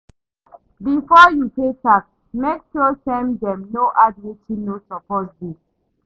Before you pay tax, make sure say dem no add wetin no suppose dey.